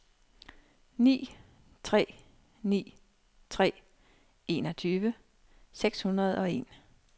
ni tre ni tre enogtyve seks hundrede og en